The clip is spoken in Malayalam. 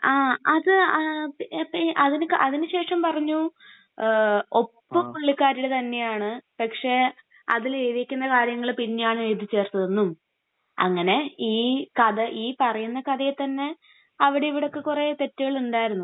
ങാ..അത്..അതിന...അപ്പൊ...അതിനുശേഷം പറഞ്ഞു..ഒപ്പ് പുള്ളിക്കാരിയുടെ തന്നെയാണ്, പക്ഷെ..അതിലെഴുതിയിരിക്കുന്ന കാര്യങ്ങൾ പിന്നെയാണ് എഴുതിച്ചേർത്തതെന്നും അങ്ങനെ ഈ കഥ ഈ...പറയുന്ന കഥയിൽ തന്നെ അവിടേം ഇവിടേം ഒക്കെ കുറെ തെറ്റുകൾ ഉണ്ടായിരുന്നു.